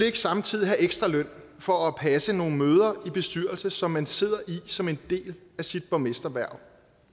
ikke samtidig have ekstra løn for at passe nogle møder i bestyrelser som man sidder i som en del af sit borgmesterhverv